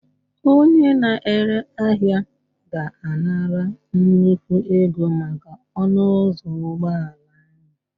Onye na-ere ahịa ga-anara nnukwu ego maka ọnụ ụzọ ụgbọala ahụ